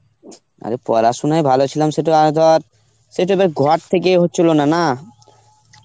আরে পড়াশোনায় ভালো ছিলাম সেটা ধর সে তোদের ঘর থেকে হোচ্ছিল না?